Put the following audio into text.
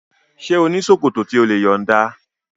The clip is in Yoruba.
Ṣé ò ní ṣòkòtò tí o lè yọ̀nda?